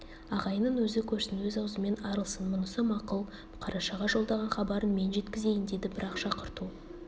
ағайынын өзі көрсін өз аузымен арылсын мұнысы мақұл қарашаға жолдаған хабарын мен жеткізейін деді бірақ шақырту